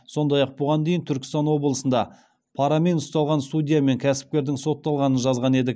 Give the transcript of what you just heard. сондай ақ бұған дейін түркістан облысында парамен ұсталған судья мен кәсіпкердің сотталғанын жазған едік